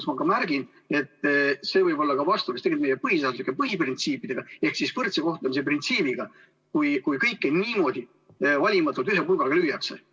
Ja märgin veel, et lõppkokkuvõttes võib see olla ka vastuolus meie põhiseaduse printsiipidega ehk võrdse kohtlemise printsiibiga, kui kõike niimoodi valimatult ühe pulgaga lüüakse.